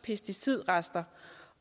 pesticidrester